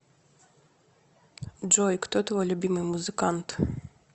джой кто твой любимый музыкант